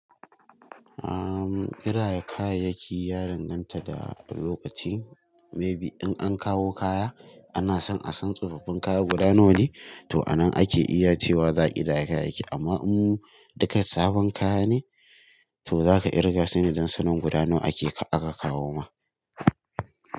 Ahm, ƙidaya kayayyaki ya danganta da lokaci. Maybe in an kawo kaya ana son a san tsofaffin kaya guda nawa ne, to a nan ake iya cewa za a ƙidaya kayayyaki. Amma in duka sabon kaya ne, to zaka kirga sune don sanin guda nawa ake aka kawo ma.